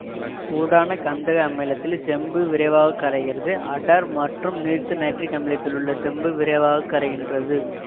சூடான கந்தக அமிலத்தில் செம்பு விரைவாக கரைகிறது அடர் மற்றும் நீர்த்த நைட்ரிக் அமிலத்திலும் செம்பு விரைவாக கரைகின்றது